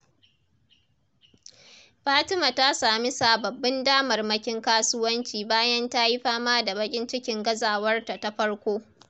Fatima ta sami sababbin damarmakin kasuwanci bayan ta yi fama da baƙin cikin gazawarta ta farko.